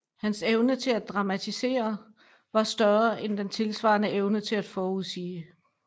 Hans evne til at dramatisere var større end den tilsvarende evne til at forudsige